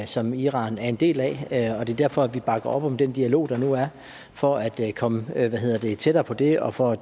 som iran er en del af det er derfor at vi bakker op om den dialog der nu er for at komme tættere på det og for